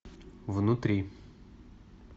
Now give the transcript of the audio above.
внутри